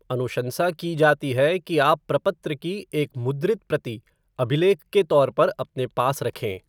अनुशंसा की जाती है कि आप प्रपत्र की एक मुद्रित प्रति अभिलेख के तौर पर अपने पास रखें।